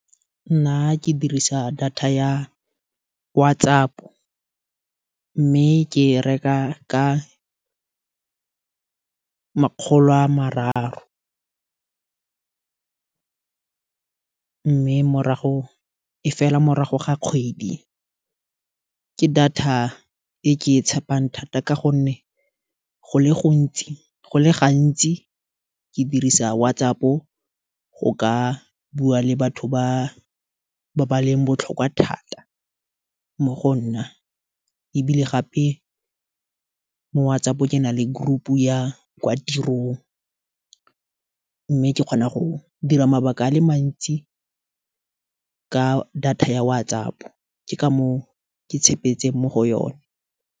Nna ke dirisa data ya WhatsApp, mme ke reka ka makgolo a mararo. Mme e fela morago ga kgwedi, ke data e ke e tshepang thata go le gantsi ke dirisa WhatsApp go ka go ka bua le batho ba ba baleng botlhokwa thata mo go nna. Ebile gape mo WhatsApp ke na le group ya kwa tirong, mme ke kgona go dira mabaka a le mantsi ka data ya WhatsApp, ke ka moo ke tshepetseng mo go yone.